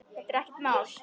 Þetta er ekkert mál.